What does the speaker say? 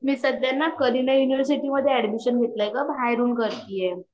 मी सध्या न colleague university मध्ये एड्मिशन घेतले आहे बाहेरून करती आहे